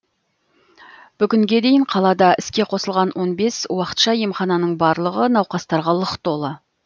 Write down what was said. бүгінге дейін қалада іске қосылған он бес уақытша емхананың барлығы науқастарға лық толы